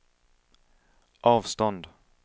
avstånd